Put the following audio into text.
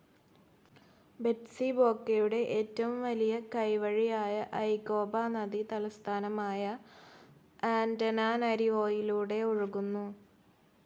ബെറ്റ്സിബോക്കയുടെ ഏറ്റവും വലിയ കൈവഴിയായ ഐകോപ നദി തലസ്ഥാനമായ ആന്റനാനരിവോയിലൂടെ ഒഴുകുന്നു.